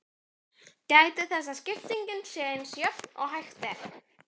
Gætið þess að skiptingin sé eins jöfn og hægt er.